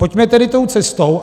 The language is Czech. Pojďme tedy tou cestou.